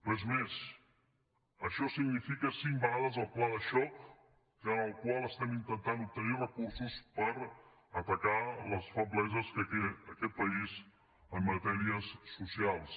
res més això significa cinc vegades el pla de xoc amb el qual estem intentant obtenir recursos per atacar les febleses que té aquest país en matèries socials